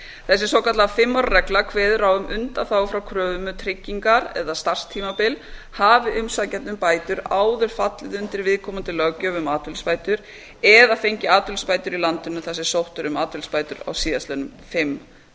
þessi svokallaða fimm ára regla kveður á um undanþágu frá kröfum um tryggingar eða starfstímabil hafi umsækjandi um bætur áður fallið undir viðkomandi löggjöf um atvinnuleysisbætur eða fengið atvinnuleysisbætur í landinu þar sem sótt er um atvinnuleysisbætur síðustu fimm